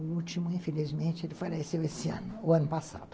O último, infelizmente, faleceu esse ano, o ano passado.